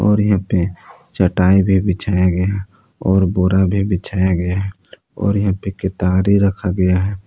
और यहां पे चटाई भी बिछाया गया है और बोरा भी बिछाया गया है और यहां पे केतारी रखा गया है।